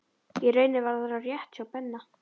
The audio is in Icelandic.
Í rauninni var það rétt hjá Benna.